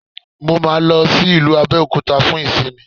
Mo máa lọ sí ìlú Abẹ́òkúta fún ìsinmi